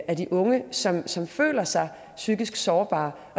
af de unge som som føler sig psykisk sårbare